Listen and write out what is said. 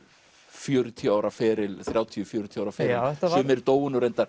fjörutíu ára feril þrjátíu til fjörutíu ára feril sumir dóu nú reyndar